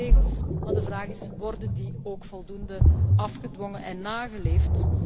Wij hebben regels, maar de vraag is worden die ook voldoende afgedwongen en nageleefd?